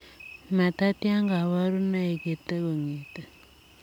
Matatya kabarunoik yetee kongetee